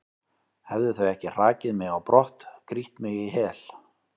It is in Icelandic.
hefðu þau ekki hrakið mig á brott, grýtt mig í hel?